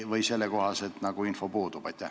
Või sellekohane info puudub?